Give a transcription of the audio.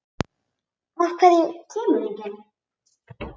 Af hverju kemur enginn?